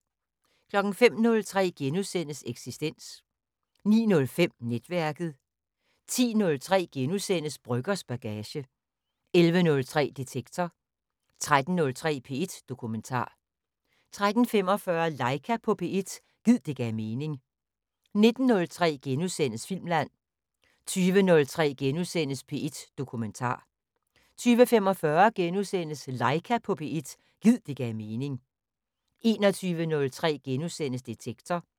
05:03: Eksistens * 09:05: Netværket 10:03: Brøggers bagage * 11:03: Detektor 13:03: P1 Dokumentar 13:45: Laika på P1 – gid det gav mening 19:03: Filmland * 20:03: P1 Dokumentar * 20:45: Laika på P1 – gid det gav mening * 21:03: Detektor *